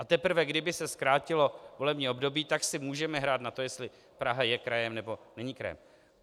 A teprve kdyby se zkrátilo volební období, tak si můžeme hrát na to, jestli Praha je krajem, nebo není krajem.